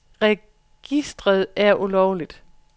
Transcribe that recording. Foreningen mener registret er ulovligt.